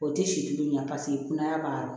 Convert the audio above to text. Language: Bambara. O tɛ si kelen ɲɛ paseke kunaya b'a la